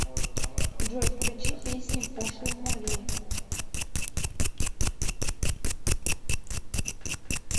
джой включи песни пошлой молли